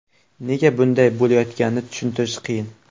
Nega bunday bo‘layotganini tushuntirish qiyin.